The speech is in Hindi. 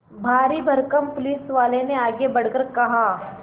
भारीभरकम पुलिसवाले ने आगे बढ़कर कहा